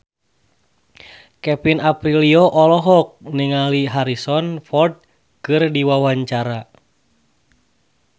Kevin Aprilio olohok ningali Harrison Ford keur diwawancara